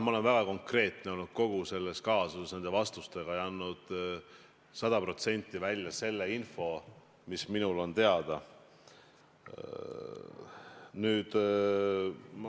Ma arvan, et ma olen olnud kogu selles kaasuses väga konkreetne oma vastustega ja andnud sada protsenti välja selle info, mis minul on teada.